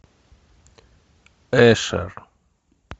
эшер